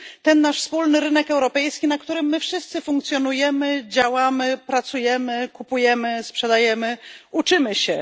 Ten nasz wspólny rynek europejski, na którym wszyscy funkcjonujemy, działamy, pracujemy, kupujemy, sprzedajemy, uczymy się.